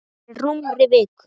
Fyrir rúmri viku.